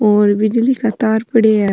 और बिजली का तार पड़ा है।